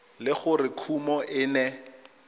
le gore kumo e ne